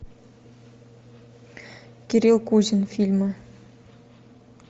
кирилл кузин фильмы